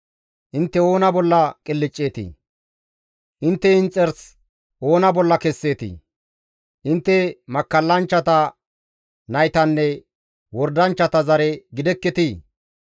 Intte oona bolla qilcceetii? Intte inxarsi oona bolla kesseetii? Intte makkallanchchata naytanne wordanchchata zare gidekketii?